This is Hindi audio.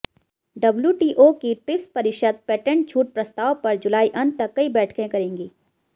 डब्ल्यूटीओ की ट्रिप्स परिषद पेटेंट छूट प्रस्ताव पर जुलाई अंत तक कई बैठकें करेगी